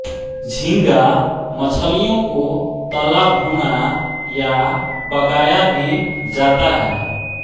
झींगा मछलियों को तला भुना या पकाया भी जाता है